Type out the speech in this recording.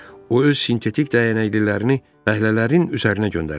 O öz sintetik dəyənəklilərini fəhlələrin üzərinə göndərirdi.